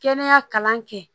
Kɛnɛya kalan kɛ